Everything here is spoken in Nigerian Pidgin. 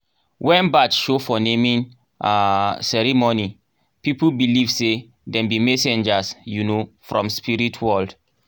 when bat show for naming um ceremony people believe say dem be messenger um from spirit world.